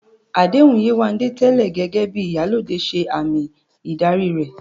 Àdéhùn Yewande tẹ́lẹ̀ gẹ́gẹ́ bí "Iyalode" ṣe àmì ìdarí rẹ̀